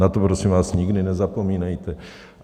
Na to, prosím vás, nikdy nezapomínejte.